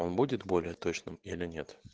он будет более точным или нет